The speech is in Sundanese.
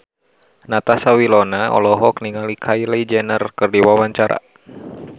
Natasha Wilona olohok ningali Kylie Jenner keur diwawancara